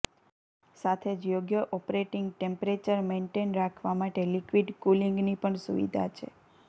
સાથે જ યોગ્ય ઑપરેટિંગ ટેમ્પરેચર મેન્ટેઈન રાખવા માટે લિક્વિડ કૂલિંગની પણ સુવિધા છે